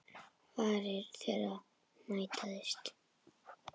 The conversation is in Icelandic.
Varir þeirra mætast.